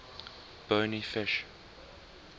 bony fish